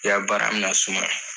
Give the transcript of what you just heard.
I y'a baara na sumaya.